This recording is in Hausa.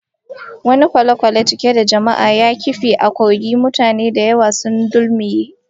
Wani kwale-kwale cike da jama'a ya kife a kogi, mutane da yawa sun dulmuye